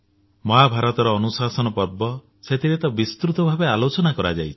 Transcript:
ମହାଭାରତର ଅନୁଶାସନ ପର୍ବ ସେଥିରେ ତ ବିସ୍ତୃତ ଭାବେ ଆଲୋଚନା କରାଯାଇଛି